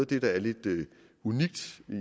det der er lidt unikt